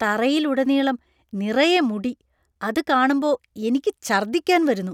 തറയിൽ ഉടനീളം നിറയെ മുടി . അത് കാണുമ്പോ എനിയ്ക്ക് ഛർദ്ദിക്കാൻ വരുന്നു.